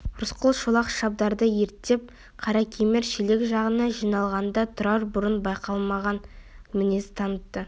рысқұл шолақ шабдарды ерттеп қаракемер шелек жағына жиналғанда тұрар бұрын байқалмаған мінез танытты